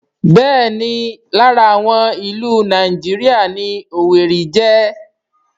Bẹ́ẹ̀ni lára àwọn ìlú Nàìjíríà ni Owerri jẹ́